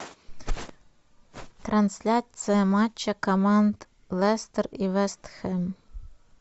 трансляция матча команд лестер и вест хэм